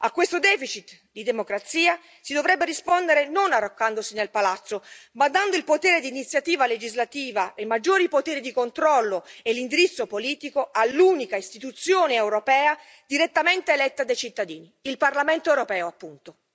A questo deficit di democrazia si dovrebbe rispondere non arroccandosi nel palazzo, ma dando il potere di iniziativa legislativa e maggiori poteri di controllo e l'indirizzo politico all'unica istituzione europea direttamente eletta dai cittadini il Parlamento europeo, appunto.